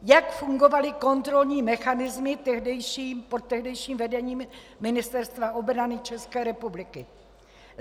Jak fungovaly kontrolní mechanismy pod tehdejším vedením Ministerstva obrany České republiky?